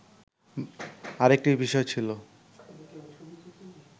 আরেকটি বিষয় ছিল